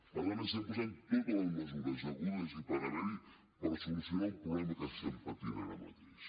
per tant estem posant totes les mesures hagudes i per haver hi per solucionar un problema que estem patint ara mateix